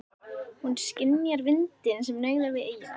Hún skynjar vindinn sem nauðar við eyjuna.